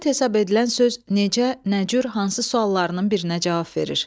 Epitet hesab edilən söz necə, nə cür, hansı suallarının birinə cavab verir.